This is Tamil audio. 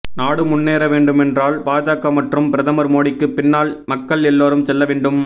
நாடு முன்னேற வேண்டுமென்றால் பாஜக மற்றும் பிரதமர் மோடிக்கு பின்னால் மக்கள் எல்லோரும் செல்ல வேண்டும்